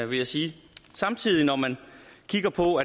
vil jeg sige når man kigger på